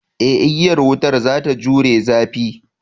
Eh, igiyar wutar za ta jure zafi